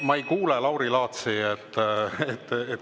Ma ei kuule Lauri Laatsi.